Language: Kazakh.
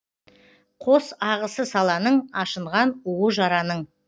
қос ағысы саланың ашынған уы жараның